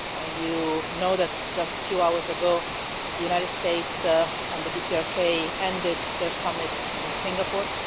You know that just a few hours ago the United States and the DPRK ended their summit in Singapore.